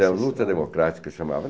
Então, luta democrática chamava.